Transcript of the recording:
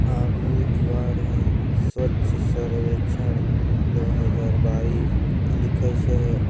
आगू दीवार हे स्वच्छ सर्वेक्षण दो हजार बाइस लिखाइस हे ।